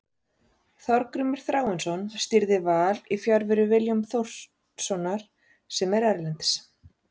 Þorgrímur Þráinsson stýrði Val í fjarveru Willums Þórssonar sem er erlendis.